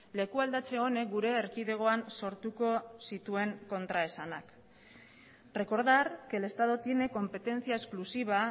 lekualdatze honek gure erkidegoan sortuko zituen kontraesanak recordar que el estado tiene competencia exclusiva